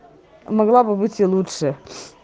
могла бы быть и лучше